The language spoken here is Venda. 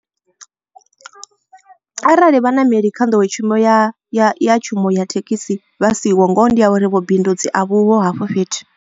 Arali vhaṋameli kha nḓowetshumo ya ya tshumelo ya thekhisi vha siho ngoho ndi ya uri vhubindudzi a vhuho hafho fhethu.